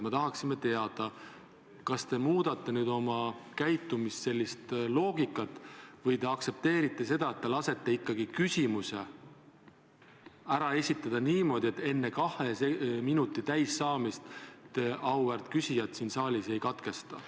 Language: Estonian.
Me tahaksime teada, kas te muudate oma käitumise sellist loogikat või te aktsepteerite kodukorda ja lasete ikkagi küsimuse ära esitada niimoodi, et enne kahe minuti täis saamist te auväärt küsijat siin saalis ei katkesta.